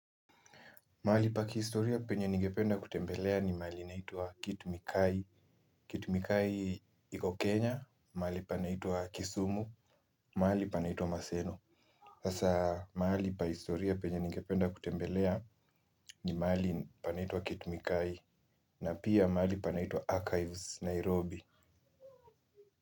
Mahali pa kihistoria penye ningependa kutembelea ni mahali inaituwa Kit Mikayi, Kit Mikayi iko Kenya, mahali panaitwa Kisumu, mahali panaitwa Maseno, sasa mahali pa historia penye ningependa kutembelea ni mahali panaitwa Kit Mikayi, na pia mahali panaitwa Archives Nairobi.